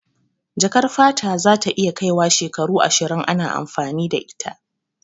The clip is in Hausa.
Jakar fata za ta iya kai wa shekaru ashirin ana amfani da ita